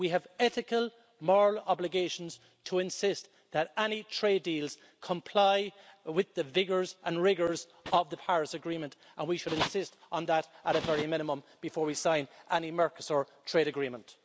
We have ethical, moral obligations to insist that any trade deals comply with the vigours and rigours of the Paris Agreement, and we should insist on that at the very minimum before we sign any Mercosur trade agreement.